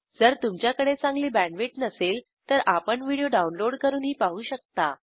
जर तुमच्याकडे चांगली बॅण्डविड्थ नसेल तर आपण व्हिडिओ डाउनलोड करूनही पाहू शकता